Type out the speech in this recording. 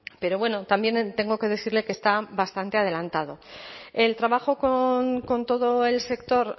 pero también tengo que decirle que está bastante adelantado el trabajo con todo el sector